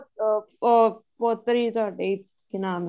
ਉਹ ਪੋਤਰੀ ਤੁਹਾਡੀ ਕੀ ਨਾਮ